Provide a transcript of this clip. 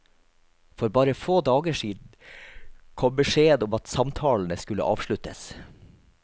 For bare få dager siden kom beskjeden om at samtalene skulle avsluttes.